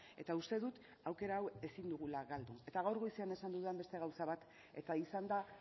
eta uste dut aukera hau ezin dugula galdu eta gaur goizean esan dudan beste gauza bat eta izan da